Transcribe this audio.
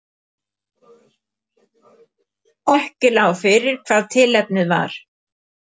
Ekki lá fyrir hvað tilefnið var